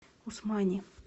усмани